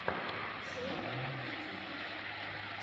шоу ютюб